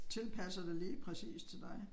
Tilpasser det lige præcis til dig